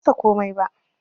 Ban masa komai ba